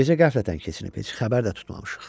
Gecə qəflətən keçinib, heç xəbər də tutmamışıq.